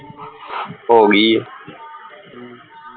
ਹੋਗੀ